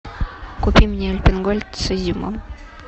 купи мне альпен гольд с изюмом